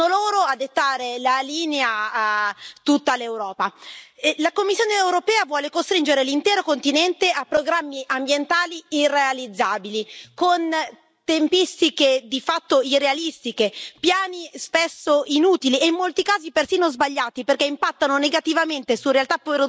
E la Commissione europea vuole costringere l'intero continente a programmi ambientali irrealizzabili con tempistiche di fatto irrealistiche, piani spesso inutili e in molti casi persino sbagliati perché impattano negativamente su realtà produttive importanti e hanno un costo che alla fine ricade sui consumatori.